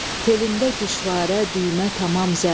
Telində güşvarə, düymə tamam zər.